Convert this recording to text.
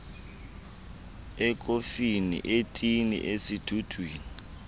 ekofini etini esidudwini